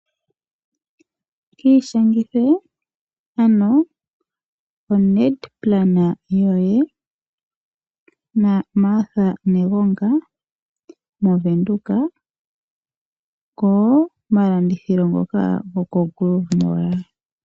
Kiishangithe ano oNedplan yoye naMartha Negonga moVenduka komalandithilo ngoka goko Grove Mall.